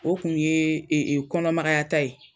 O kun ye kɔnɔ magayata ye